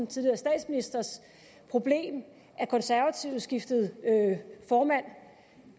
tidligere statsministers problem at konservative skiftede formand